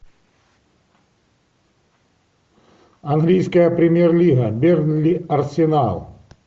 английская премьер лига бернли арсенал